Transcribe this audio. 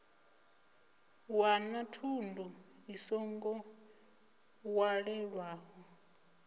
wana thundu i songo walelwaho